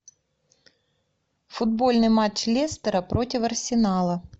футбольный матч лестера против арсенала